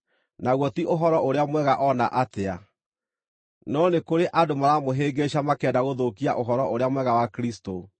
naguo ti Ũhoro-ũrĩa-Mwega o na atĩa. No nĩ kũrĩ andũ maramũhĩngĩĩca makĩenda gũthũkia Ũhoro-ũrĩa-Mwega wa Kristũ.